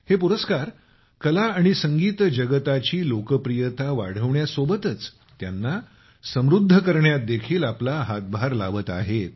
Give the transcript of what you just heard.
हे पुरस्कार कला आणि संगीत जगताची लोकप्रियता वाढवण्यासोबतच त्यांना समृद्ध करण्यात देखील आपला हातभार लावत आहेत